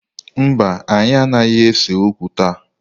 Mba, anyị anaghị ese okwu taa